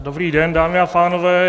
Dobrý den, dámy a pánové.